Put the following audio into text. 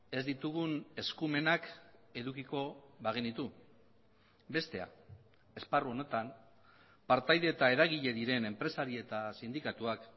ez ditugun eskumenak edukiko bagenitu bestea esparru honetan partaide eta eragile diren enpresari eta sindikatuak